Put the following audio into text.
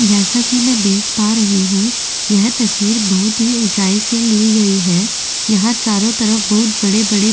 जैसा कि मैं देख पा रही हूँ यह तस्वीर बहुत ही ऊंचाई से ली गई है यहाँ चारों तरफ बहुत बड़े-बड़े --